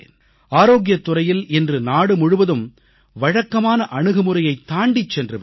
ஆரோக்கியத் துறையில் இன்று நாடு முழுவதும் வழக்கமான அணுகுமுறையைத் தாண்டிச் சென்று விட்டது